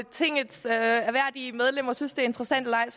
tingets ærværdige medlemmer synes det er interessant eller ej